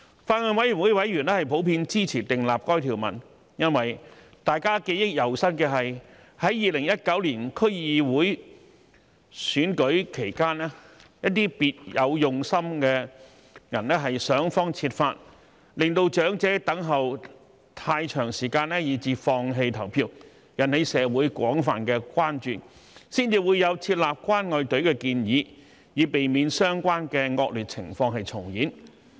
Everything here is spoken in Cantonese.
法案委員會委員普遍支持訂立該條文，因為大家記憶猶新的是，在2019年區議會選舉期間，一些別有用心的人想方設法令長者等候太長時間而放棄投票，引起社會廣泛關注，才會有設立"關愛隊"的建議，以避免相關惡劣情況重演。